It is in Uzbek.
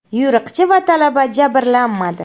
Yo‘riqchi va talaba jabrlanmadi.